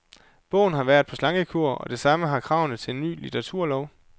Bogen har været på slankekur, og det samme har kravene til en ny litteraturlov.